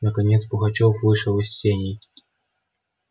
наконец пугачёв вышел из сеней